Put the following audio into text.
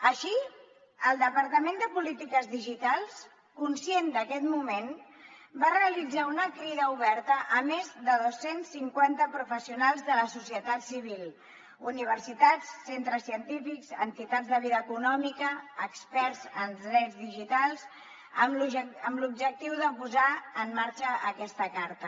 així el departament de polítiques digitals conscient d’aquest moment va realitzar una crida oberta a més de dos cents cinquanta professionals de la societat civil universitats centres científics entitats de vida econòmica experts en drets digitals amb l’objectiu de posar en marxa aquesta carta